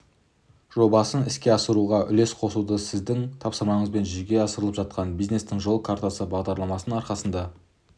жобасын іске асыруға үлес қосуда сіздің тапсырмаңызбен жүзеге асырылып жатқан бизнестің жол картасы бағдарламасының арқасында